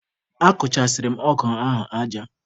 Akụchasịrị m ọgụ ahụ aja.